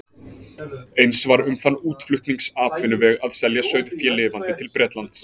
Eins var um þann útflutningsatvinnuveg að selja sauðfé lifandi til Bretlands.